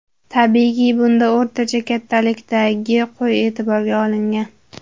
Tabiiyki, bunda o‘rtacha kattalikdagi qo‘y e’tiborga olingan.